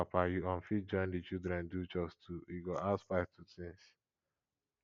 as mama and papa you um fit join di children do chores too e go add spice to things